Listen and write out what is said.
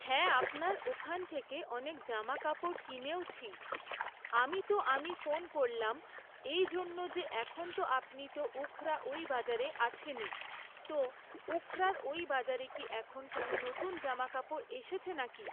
হ্যাঁ আপনার ওখান থেকে অনেক জামাকাপড় কিনেওছি, আমি তো আমি ফোন করলাম এই জন্যে যে এখন তো আপনি তো উখরা ওই বাজারে আছেনই; তো উখরার ওই বাজারে কি এখন কোনো নতুন জামাকাপড় এসেছে নাকি?